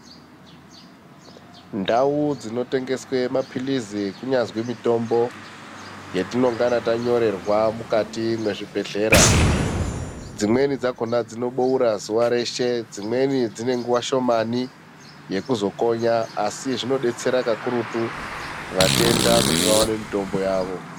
Ndau dzinotengeswa mapilizi kunyazi mitombo yetinongana tanyorerwa mukati mwezvibhehlera, dzimweni dzakhona inoboura zuwa reshe, dzimweni dzine nguwa shomani yekuzokonya asi zvinodetsera pakurutu vatenda kuti vaone mutombo yavo.